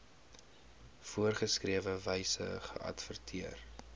voorgeskrewe wyse geadverteer